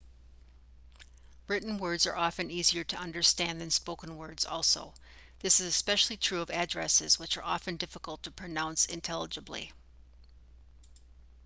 written words are often easier to understand than spoken words also this is especially true of addresses which are often difficult to pronounce intelligibly